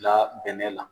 Bila bɛnɛ la